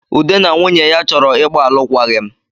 Ude na nwunye ya chọrọ ịgbaalụkwaghị m